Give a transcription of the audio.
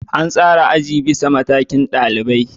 An tsara azuzuwa bisa matakin ɗalibai